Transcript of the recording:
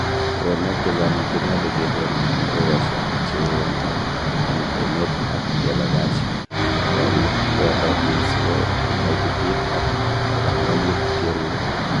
Uroonok chechang konyolu kekoon en ekosiek chewoo maat en emet ak kebagach goriik koyototin si ko kaititit ak koraranit keruen.